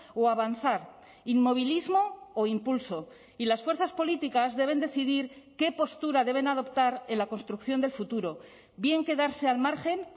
o avanzar inmovilismo o impulso y las fuerzas políticas deben decidir qué postura deben adoptar en la construcción del futuro bien quedarse al margen